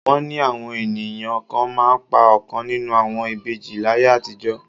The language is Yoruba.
Wọ́n ni àwọn ènìyàn kan máa ń pa ọ̀kan nínú àwọn ìbejì láyé àtijọ́